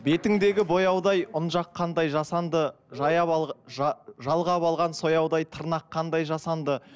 бетіңдегі бояудай ұн жаққандай жасанды жалғап алған сояудай тырнақ қандай жасанды